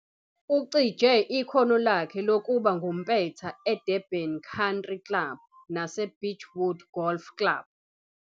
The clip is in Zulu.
Ucije ikhono lakhe lokuba ngumpetha eDurban Country Club naseBeachwood Golf Club.